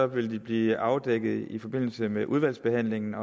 vil de blive afdækket i forbindelse med udvalgsbehandlingen